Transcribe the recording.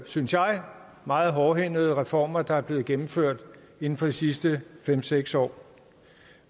synes jeg meget hårdhændede reformer der er blevet gennemført inden for de sidste fem seks år